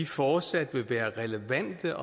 fortsat vil være relevante